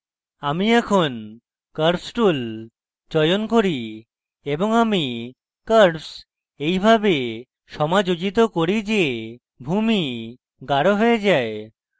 আমি এখন curves tool চয়ন করি এবং আমি curves এইভাবে সমাযোজিত করি যে ভূমি গাঢ় হয়ে যায়